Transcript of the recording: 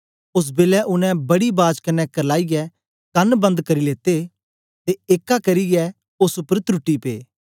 ओस बेलै उनै बड़ी बाज कन्ने करलाईयै कन बंद करी लेते ते एक्का करियै ओस उपर त्रुटी पे